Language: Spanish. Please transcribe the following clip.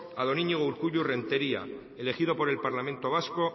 a don iñigo urkullu renteria elegido por el parlamento vasco